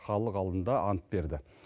халық алдында ант берді